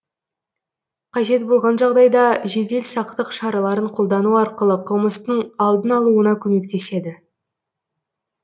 қажет болған жағдайда жедел сақтық шараларын қолдану арқылы қылмыстың алдын алуына көмектеседі